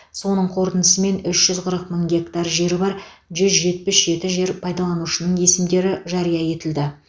соның қорытындысымен үш жүз қырық мың гектар жері бар жүз жетпіс жеті жер пайдаланушының есімдері жария етілді